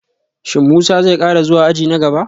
Shin Musa zai kara zuwa aji na gaba?